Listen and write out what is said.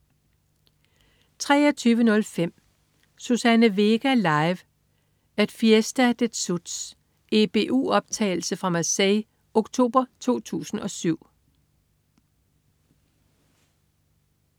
23.05 Suzanne Vega live at Fiesta des Suds. EBU optagelse fra Marseille oktober 2007